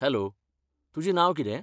Hello, तुजें नांव कितें?